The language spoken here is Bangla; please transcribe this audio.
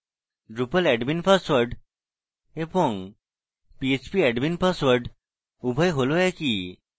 drupal admin পাসওয়ার্ড এবং phpmyadmin password উভয় হল একই